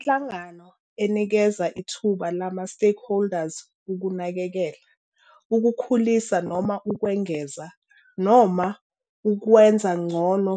Inhlangano enikeza ithuba lama-stakeholders ukunakekela, ukukhulisa noma ukwengeza, noma ukwenza ngcono